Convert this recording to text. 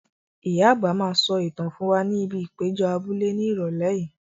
Ìyá àgbà máa sọ ìtàn fún wa ní ibi ìpéjọ abúlé ní Ìrọ̀lẹ́ yìí.